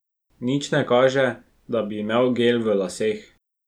Nič ne kaže, da bi imel gel v laseh.